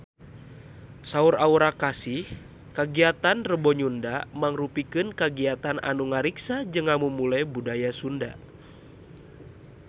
Saur Aura Kasih kagiatan Rebo Nyunda mangrupikeun kagiatan anu ngariksa jeung ngamumule budaya Sunda